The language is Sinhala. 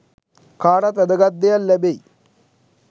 කාටත් වැදගත් දෙයක් ලැබෙයි